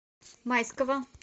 майского